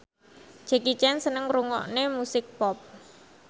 Jackie Chan seneng ngrungokne musik pop